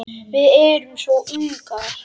Við erum svo ungar.